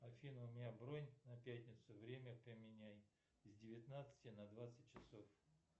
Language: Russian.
афина у меня бронь на пятницу время поменяй с девятнадцати на двадцать часов